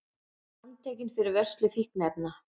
Handtekinn fyrir vörslu fíkniefna